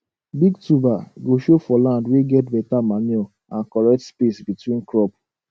big tuber go show for land wey get better manure and correct space between crop